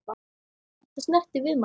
Þetta snertir við manni.